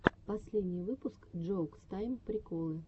последний выпуск джоукс тайм приколы